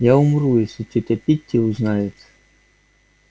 я умру если тётя питти узнает